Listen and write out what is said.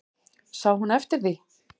Sá hún eftir því?